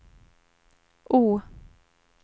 O